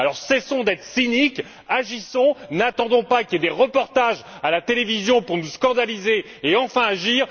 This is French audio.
Alors cessons d'être cyniques, agissons et n'attendons pas qu'il y ait des reportages à la télévision pour nous scandaliser et enfin agir.